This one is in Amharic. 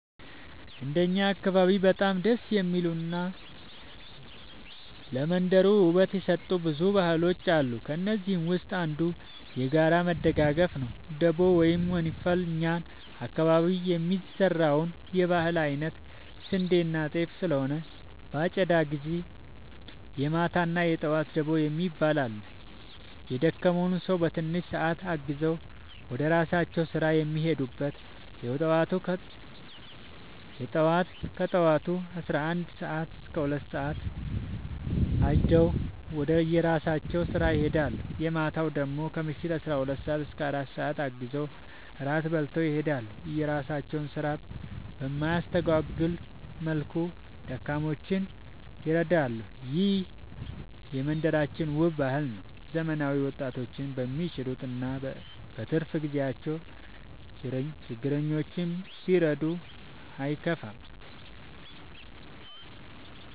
እንደ እኛ አካባቢ በጣም ደስ የሚሉ እና ለመንደሩ ውበት የሰጡት ብዙ ባህሎች አሉ ከእነዚህም ውስጥ አንዱ። የጋራ መደጋገፍ ነው ደቦ ወይም ወንፈል እኛ አካባቢ የሚዘራው የህል አይነት ስንዴና ጤፍ ስለሆነ በአጨዳ ግዜ የማታ እና የጠዋት ደቦ የሚባል አለ። የደከውን ሰው በትንሽ ሰአት አግዘው ወደራሳቸው ስራ የሚሄዱበት። የጠዋቱ ከጠዋቱ 11-2 ሰአት አጭደው ወደራሳቸው ስራ ይሄዳሉ። የማታው ደግሞ ከምሽቱ 12 - 4 ሰዓት አግዘው እራት በልተው ይሄዳሉ። የራሳቸውን ስራ በማያስታጉል ወልኩ ደካሞችን ይረዳሉ። ይህ የመንደራችን ውብ ባህል ነው። ዘመናዊ ወጣቶችም በሚችሉት እና በትርፍ ግዜቸው ችረኞችን ቢዱ አይጎዱም።